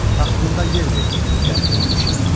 Taxtında yer verdi, qəlbi oldu şən.